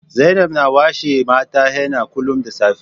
Zainab na washe mata henna kullum da safe